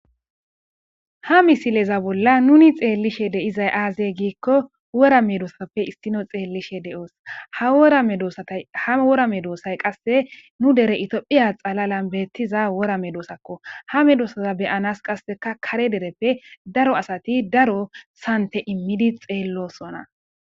Ha misileza bolla nuni xeellishe de'izay aazey giikko wora me doosappe issino xeellishe de'oos dha wora me doosay qasse nu dere itiophiya xalalan beettiza wora me doosakko hame doossaza beyanas qasseka kare dereppe daro asati daro sante immidi xeellosona